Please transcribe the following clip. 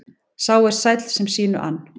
Sá er sæll sem sínu ann.